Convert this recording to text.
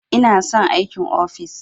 Ina son aikin ofis.